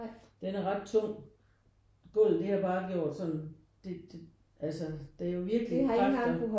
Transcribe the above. Den er ret tung. Gulvet det har bare gjort sådan det det altså det er jo virkelig kraftigt